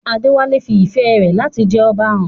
Adewale fi ìfẹ́ rẹ̀ láti jẹ Ọba hàn.